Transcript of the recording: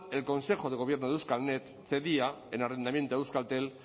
el consejo de gobierno de euskalnet cedía en arrendamiento a euskaltel